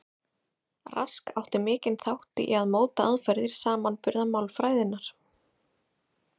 Rask átti mikinn þátt í að móta aðferðir samanburðarmálfræðinnar.